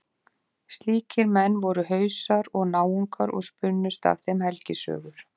Slíkir menn voru Hausar og Náungar og spunnust af þeim helgisögur.